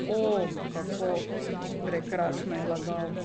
O, kako prekrasno je lagal!